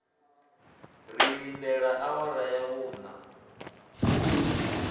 ri lindele awara ya vhuṋa